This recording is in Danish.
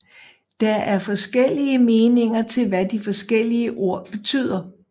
Der er forskellige meninger til hvad de forskellige ord betyder